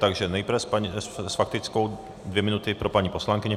Takže nejprve s faktickou dvě minuty pro paní poslankyni.